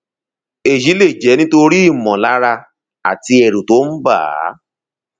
èyí lè jẹ nítorí ìmọlára àti ẹrù tó ń bà á